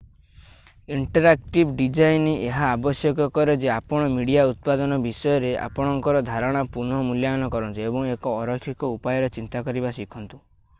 interactive design ଏହା ଆବଶ୍ୟକ କରେ ଯେ ଆପଣ ମିଡିଆ ଉତ୍ପାଦନ ବିଷୟରେ ଆପଣଙ୍କର ଧାରଣାର ପୁନଃ-ମୂଲ୍ୟାୟନ କରନ୍ତୁ ଏବଂ ଏକ ଅରୈଖିକ ଉପାୟରେ ଚିନ୍ତା କରିବା ଶିଖନ୍ତୁ